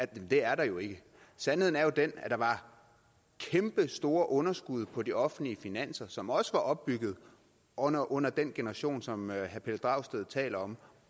det er der jo ikke sandheden er jo den at der var kæmpestore underskud på de offentlige finanser som også var opbygget under under den generation som herre pelle dragsted taler om